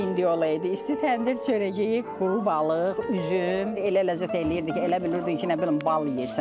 İndi olaydı, isti təndir çörəyi yeyib, quru balıq, üzüm, elə ləzzət eləyirdi ki, elə bilirdin ki, nə bilim bal yeyirsən.